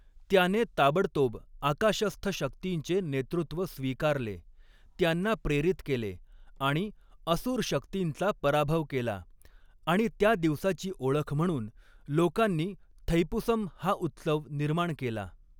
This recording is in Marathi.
त्याने ताबडतोब आकाशस्थ शक्तींचे नेतृत्व स्वीकारले, त्यांना प्रेरित केले आणि असुर शक्तींचा पराभव केला आणि त्या दिवसाची ओळख म्हणून लोकांनी थैपुसम हा उत्सव निर्माण केला.